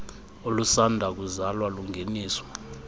olusanda kuzalwa lungeniswa